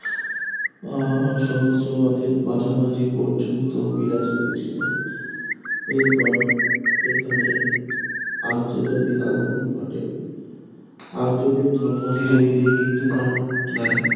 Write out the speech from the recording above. আহ সহস্রবাদের মাঝামাঝি পর্যন্ত বিরাজ করেছিল এরপর এখানে আর্য জাতির আগমণ ঘটে আর্য ধর্ম ধীরে ধীরে হিন্দু ধর্ম নেয়